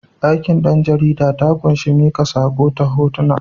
Aikin ɗan jarida ta ƙunshi miƙa saƙo ta hotuna.